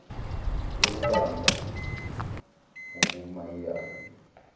yokumba ngoku mayina